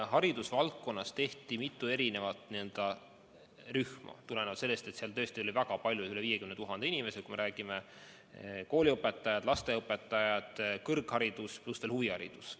Haridusvaldkonnas tehti mitu n-ö rühma tulenevalt sellest, et seal tõesti oli väga palju, üle 50 000 inimese: kooliõpetajad, lasteaiaõpetajad, kõrgharidus, pluss veel huviharidus.